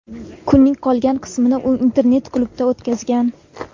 Kunning qolgan qismini u internet-klubda o‘tkazgan.